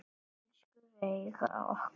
Elsku Veiga okkar.